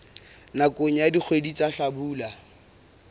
nakong ya dikgwedi tsa hlabula